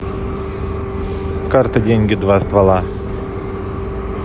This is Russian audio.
карты деньги два ствола